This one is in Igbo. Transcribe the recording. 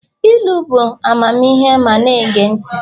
ilu bụ amamihe ma a na-ege ntị